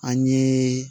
An ye